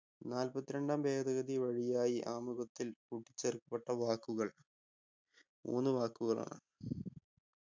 നാൽപത്തി രണ്ടാം ഭേദഗതി വഴിയായി ആമുഖത്തിൽ കൂട്ടിച്ചേർക്കപ്പെട്ട വാക്കുകൾ മൂന്ന് വാക്കുകളാണ്